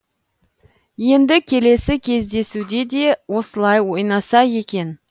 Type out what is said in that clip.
енді келесі кездесуде де осылай ойнаса екен